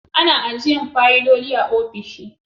Ana ajiyan fayiloli a ofisoshi